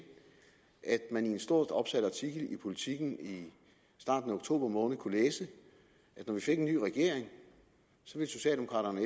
at man i en stort opsat artikel i politiken i starten af oktober måned kunne læse at når vi fik en ny regering ville socialdemokraterne